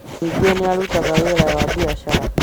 ningĩ nĩ arutaga wĩra wa biacara